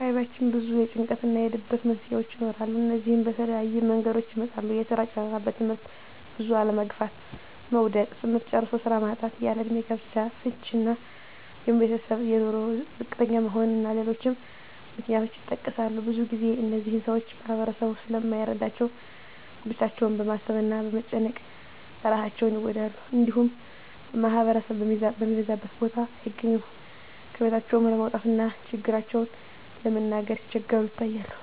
በአካባቢያችን ብዙ የጭንቀት እና የድብርት መንስሄዎች ይኖራሉ። እነዚህም በተለያየ መንገዶች ይመጣሉ የስራ ጫና; በትምህርት ብዙ አለመግፋት (መዉደቅ); ትምህርት ጨርሶ ስራ ማጣት; ያለእድሜ ጋብቻ; ፍች እና የቤተሰብ በኑሮ ዝቅተኛ መሆን እና ሌሎችም ምክንያቶች ይጠቀሳሉ። ብዙ ግዜ እነዚህን ሰወች ማህበረሰቡ ስለማይረዳቸው ብቻቸውን በማሰብ እና በመጨነቅ እራሳቸውን ይጎዳሉ። እንዲሁም ማህበረሰብ ከሚበዛበት ቦታ አይገኙም። ከቤታቸውም ለመውጣት እና ችግራቸውን ለመናገር ሲቸገሩ ይታያሉ።